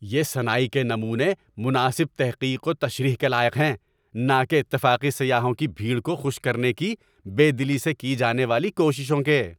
یہ صناعی کے نمونے مناسب تحقیق و تشریح کے لائق ہیں، نہ کہ اتفاقی سیاحوں کی بھیڑ کو خوش کرنے کی بے دلی سے کی جانے والی کوششوں کے۔